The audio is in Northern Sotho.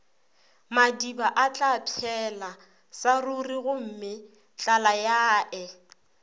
madiba atlapšhela sa rurigomme tlalayae